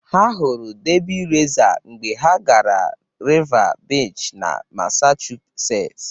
Ha hụrụ Derby Racer mgbe ha gara Revere Beach na Massachusetts.